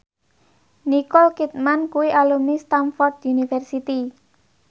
Nicole Kidman kuwi alumni Stamford University